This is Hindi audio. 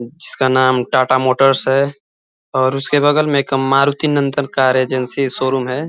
जिसका नाम टाटा मोटरस है और उसके बगल मे एक Maruti Nandan car agency showroom है।